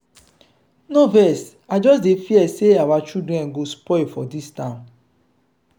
no vex i just dey fear say our children go spoil for dis town.